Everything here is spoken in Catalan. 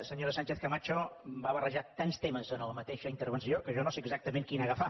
senyora sánchez camacho ha barrejat tants temes en la mateixa intervenció que jo no sé exactament quin agafar